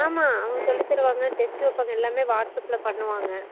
ஆமா அவுங்கசொல்லிதாருவாங்க test டு வெப்பங்கா எல்லாமே whatsapp ல பண்ணுவாங்க